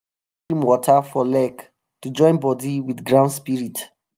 we pour stream water for leg to join body with ground spirit.